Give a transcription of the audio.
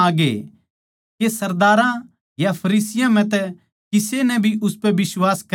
के सरदारां या फरीसियाँ म्ह तै किसे नै भी उसपै बिश्वास करया सै